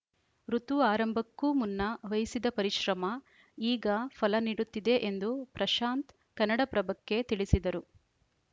ಋುತು ಆರಂಭಕ್ಕೂ ಮುನ್ನ ವಹಿಸಿದ ಪರಿಶ್ರಮ ಈಗ ಫಲ ನೀಡುತ್ತಿದೆ ಎಂದು ಪ್ರಶಾಂತ್‌ ಕನ್ನಡಪ್ರಭಕ್ಕೆ ತಿಳಿಸಿದರು